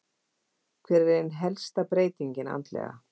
Hver er ein helsta breytingin andlega?